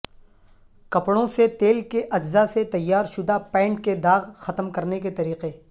کپڑوں سے تیل کے اجزاء سے تیارشدہ پینٹ کے داغ ختم کرنے کے طریقے